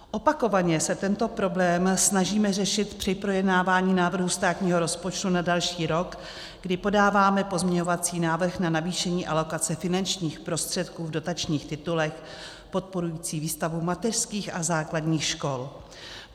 Opakovaně se tento problém snažíme řešit při projednávání návrhu státního rozpočtu na další rok, kdy podáváme pozměňovací návrh na navýšení alokace finančních prostředků v dotačních titulech podporujících výstavbu mateřských a základních škol.